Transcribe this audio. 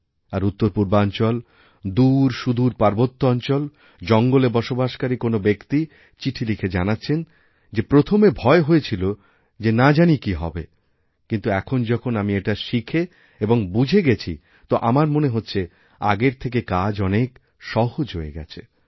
আরউত্তরপূর্বাঞ্চল দূরসুদূর পার্বত্য অঞ্চল জঙ্গলে বসবাসকারী কোনও ব্যক্তি চিঠিলিখে জানাচ্ছেন যে প্রথমে ভয় হয়েছিল যে না জানি কি হবে কিন্তু এখন যখন আমি এটাশিখে এবং বুঝে গেছি তো আমার মনে হচ্ছে আগের থেকে কাজ অনেক সহজ হয়ে গেছে